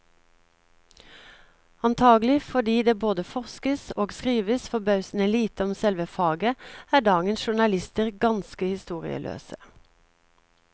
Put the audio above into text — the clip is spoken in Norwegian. Antagelig fordi det både forskes og skrives forbausende lite om selve faget, er dagens journalister ganske historieløse.